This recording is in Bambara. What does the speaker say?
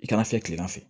I kana fiyɛ kilema fɛ